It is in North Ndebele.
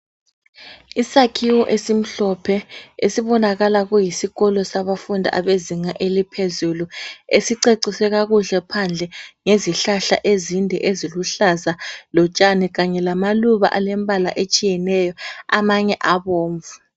Isakhiwo esimhlophe esibonakala kuyisikolo sabafundi abezinga eliphezulu esiceciswe kakuhle phandle ngezihlahla ezinde eziluhlaza lotshani kanye lamaluba alembala etshiyeneyo amanye abomvu.